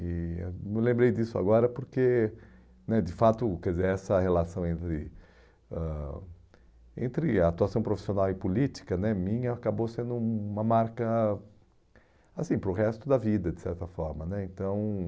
E eu me lembrei disso agora porque, né de fato, quer dizer, essa relação entre ãh entre a atuação profissional e política né minha acabou sendo hum uma marca assim para o resto da vida, de certa forma né, então